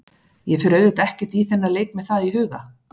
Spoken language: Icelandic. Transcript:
Ég fer auðvitað ekkert í þennan leik með það í huga.